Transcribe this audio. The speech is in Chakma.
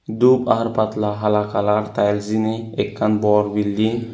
doob ar patla hala kalar tey jiyeni ekkan bor bilding.